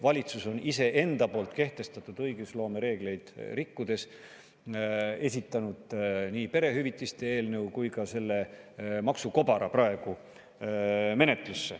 Valitsus on iseenda kehtestatud õigusloome reegleid rikkudes esitanud menetlusse nii perehüvitiste eelnõu kui ka praegu selle maksukobara.